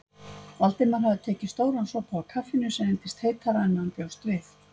Valdimar hafði tekið stóran sopa af kaffinu sem reyndist heitara en hann bjóst við.